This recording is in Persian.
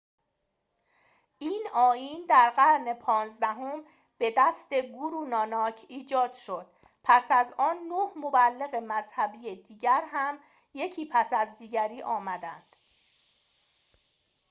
این آیین در قرن پانزدهم به دست گورو ناناک 1539- 1469 ایجاد شد. پس از آن، نه مبلغ مذهبی دیگر هم یکی پس از دیگری آمدند